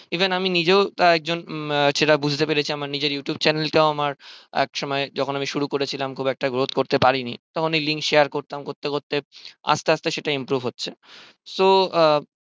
even আমি নিজেও একজন সেটা বুঝতে পেরেছি আমার নিজের youtube channel টাও আমার এক সময় যখন আমি শুরু করেছিলাম খুব একটা growth করতে পারিনি তখন ওই link share করতাম করতে করতে আস্তে আস্তে সেটা improved হচ্ছে so আহ